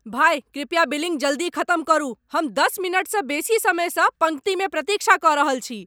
भाय, कृपया बिलिंग जल्दी खत्म करू! हम दश मिनटसँ बेसी समयसँ पङ्क्तिमे प्रतीक्षा कऽ रहल छी।